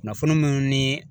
Kunnafoni minnu ni